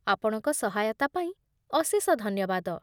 ଆପଣଙ୍କ ସହାୟତା ପାଇଁ ଅଶେଷ ଧନ୍ୟବାଦ